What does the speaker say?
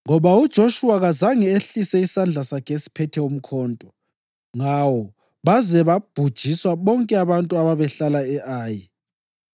ngoba uJoshuwa kazange ehlise isandla sakhe esiphethe umkhonto ngawo baze babhujiswa bonke abantu ababehlala e-Ayi.